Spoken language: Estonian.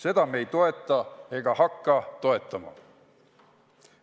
Seda me ei toeta ega hakka toetama.